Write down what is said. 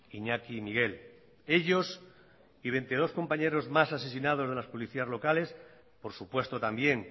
iñaki y miguel ellos y veintidós compañeros más asesinados de las policías locales por supuesto también